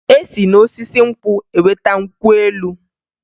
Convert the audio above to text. E si n'osisi nkwụ enweta nkwụ elu